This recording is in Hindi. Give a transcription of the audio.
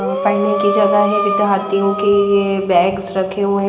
अ पढने की जगह है विद्यार्थीयो के ये बेग्स रखे हुए --